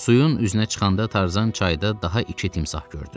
Suyun üzünə çıxanda Tarzan çayda daha iki timsah gördü.